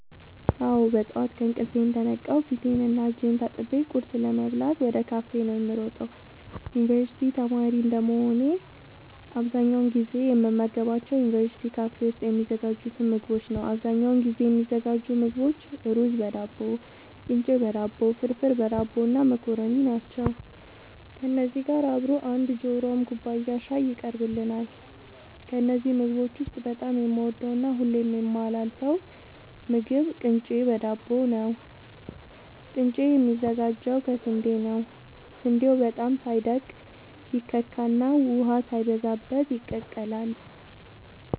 አወ ጠዋት ከእንቅልፌ እንደነቃሁ ፊቴን እና እጄን ታጥቤ ቁርስ ለመብላት ወደ ካፌ ነዉ የምሮጠው የዩንቨርስቲ ተማሪ እንደመሆኔ አብዛኛውን ጊዜ የምመገባቸው ዩንቨርስቲ ካፌ ውስጥ የሚዘጋጁትን ምግቦች ነዉ አብዛኛውን ጊዜ የሚዘጋጁ ምግቦች እሩዝበዳቦ ቅንጨበዳቦ ፍርፍርበዳቦ እና መኮረኒ ናቸው ከነዚህ ጋር አብሮ አንድ ጆሯም ኩባያ ሻይ ይቀርብልናል ከነዚህ ምግቦች ውስጥ በጣም የምወደውና ሁሌም የማላሳልፈው ምግብ ቅንጨ በዳቦ ነዉ ቅንጨ የሚዘጋጀው ከስንዴ ነዉ ስንዴው በጣም ሳይደቅ ይከካና ውሃ ሳይበዛበት ይቀላል